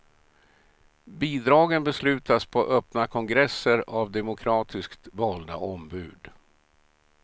Bidragen beslutas på öppna kongresser av demokratiskt valda ombud.